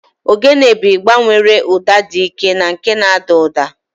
Ogene bụ igba nwere ụda dị ike na nke na-ada ụda.